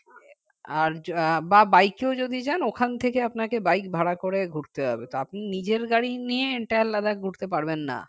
আর আহ bike কেও যদি যান ওখান থেকে আপনাকে bike ভাড়া করে ঘুরতে হবে তা আপনি নিজের গাড়ি নিয়ে একটা আলাদা ঘুরতে পারবেন না